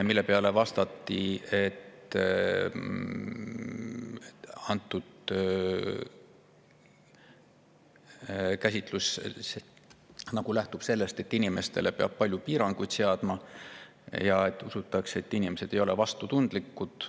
Selle peale vastati, et käsitlus lähtub sellest, et inimestele peab palju piiranguid seadma ja et usutakse, et inimesed ei ole vastutustundlikud.